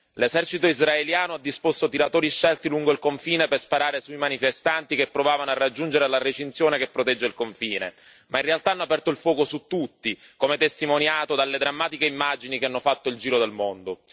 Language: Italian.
L'esercito israeliano ha disposto tiratori scelti lungo il confine per sparare sui manifestanti che provavano a raggiungere la recinzione che protegge il confine ma in realtà hanno aperto il fuoco su tutti, come testimoniato dalle drammatiche immagini che hanno fatto il giro del mondo.